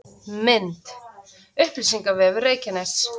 Mynd: Upplýsingavefur Reykjaness